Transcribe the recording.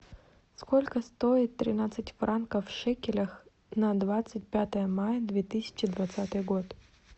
сколько стоит тринадцать франков в шекелях на двадцать пятое мая две тысячи двадцатый год